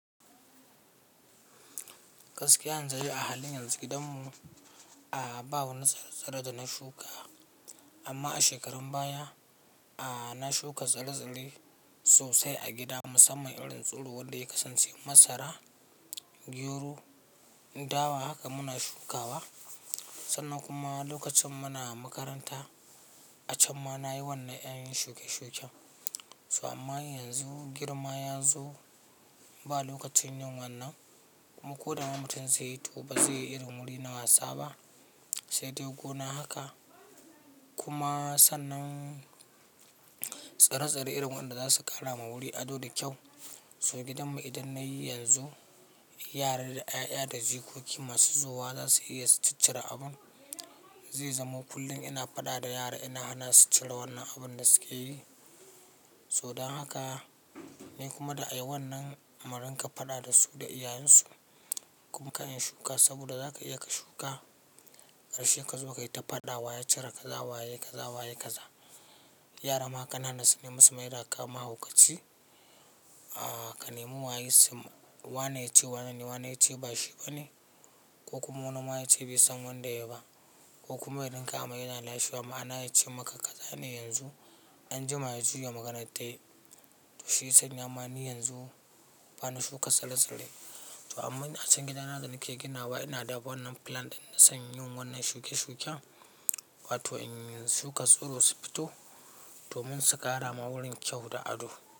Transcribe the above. Gaskiya yanzu dai a halin yanzu gidanmu a'a ba wani tsire-tsire da na shuka amma a shekarun baya a'a na shuka tsire-tsire sosai a gida musamman irin tsiro wanda ya kasance masara, gero, dawa haka muna shukawa. Sannan kuma lokacin muna makaranta, a can ma nayi wannan ƴan shuƙe-shuƙen. So, amma yanzu girma ya zo. Ba lokacin yin wannan. Ko dama mutum zai yi, to ba zai irin wuri na wasa ba, sai dai gona haka. Kuma sannan tsire-tsire irin wanda za su ƙara ma wuri ado da kyau. So gidanmu idan na yi yanzu, yara da 'ya'ya da jikoki masu zowa za su iya su ci cire abun. Zai zamo kullum ina fada da yara, ina hanasu cire wannan abun da suke yi. So don haka ni kuma da a yi wannan murinka fada da su da iyayensu. Kuma ka shuka, saboda za ka iya ka shuka, karshe ka zo ka yi ta fada wa ya cire kaza, wa ya yi kaza, wa ya yi kaza. Yara ma kanana su nemi su maida ka mahauka ci. A'a ka nemi wa ya sum wane yace wane, wa ne yace ba shi ba ne, ko kuma wani ma yace bai san wanda yayi ba. Ko kuma idan ka amai kana lashe wa ma'ana yace maka ka zane yanzu, an jima ya juya maganar ta. To shi ya sanya ma, ni yanzu bana shuka tsare-tsare. To amma a can gidanana da nake ginawa ina da wannan plan ɗin na son yin wannan shuƙe-shuƙen. Wato in shuka tsiro su fito. Domin su ƙara ma wurin kyau da ado.